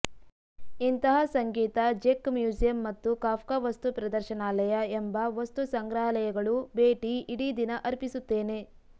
ಇಂತಹ ಸಂಗೀತ ಜೆಕ್ ಮ್ಯೂಸಿಯಂ ಮತ್ತು ಕಾಫ್ಕ ವಸ್ತುಪ್ರದರ್ಶನಾಲಯ ಎಂಬ ವಸ್ತುಸಂಗ್ರಹಾಲಯಗಳು ಭೇಟಿ ಇಡೀ ದಿನ ಅರ್ಪಿಸುತ್ತೇನೆ